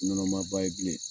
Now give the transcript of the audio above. Ɲɔnɔma ba ye bilen